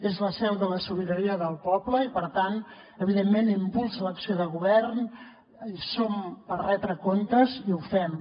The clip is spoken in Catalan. és la seu de la sobirania del poble i per tant evidentment impulsa l’acció de govern hi som per retre comptes i ho fem